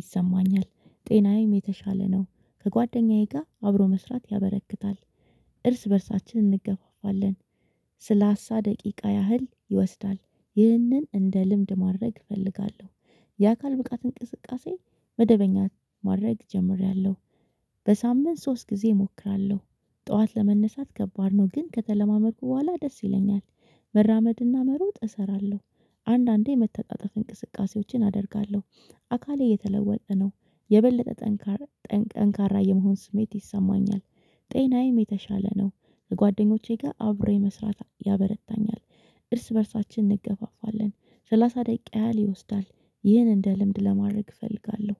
ይሰማኛል። ጤናዬም የተሻለ ነው። ከጓደኛዬ ጋር አብሮ መስራት ያበረክታል። እርስ በእርሳችን እንገባባለን። ስለሳ ደቂቃ ያህል ይወስዳል። ይህንን እንደ ልምድ ማድረግ እፈልጋለሁ። የአካል ብቃት እንቅስቃሴ መደበኛት ማድረግ ጀምሬያለሁ። በሳምንት ሶስት ጊዜ እሞክራለሁ ጠዋት ለመነሳት ከባድ ነው ግን ከተለማመድኩ በኋላ ደስ ይለኛል። መራመድ እና መሮጥ እሰራለሁ አንዳንዴ የመተጣጠፍ እንቅስቃሴዎችን አደርጋለሁ። አካሌ እየተለወጠ ነው የበለጠ ጠንካራ የመሆን ስሜት ይሰማኛል። ጤናዬም የተሻለ ነው። ከጓደኞቼ ጋር አብሬ መስራት ያበረታኛል። እርስ በእርሳችን እንገፋፋለን። ሰላሳ ደቂቃ ያህል ይወስዳል። ይህን እንደ ልምድ ማድረግ እፈልጋለሁ።